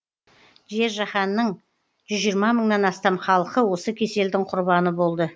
жер жаһанның жүз жиырма мыңнан астам халқы осы кеселдің құрбаны болды